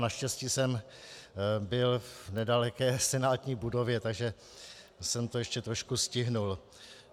Naštěstí jsem byl v nedaleké senátní budově, takže jsem to ještě trošku stihl.